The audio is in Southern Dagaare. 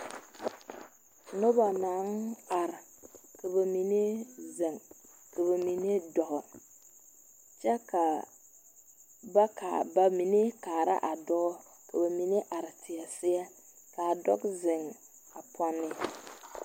Noba naŋ are, ka ba mine zeŋ, ka ba mine dɔɔ kyɛ ka ba kaa.. ba mine kaara a dɔɔ, ka ba mine are teɛ seɛ ka adɔɔ zeŋ a pɔnne …